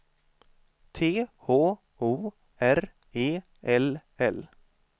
T H O R E L L